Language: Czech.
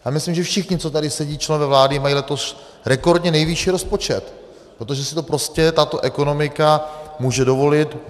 Já myslím, že všichni, co tady sedí, členové vlády mají letos rekordně nejvyšší rozpočet, protože si to prostě tato ekonomika může dovolit.